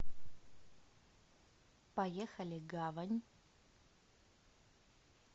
поехали гавань